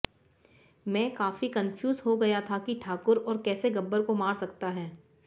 मैं काफी कन्फ्यूज हो गया था कि ठाकुर और कैसे गब्बर को मार सकता है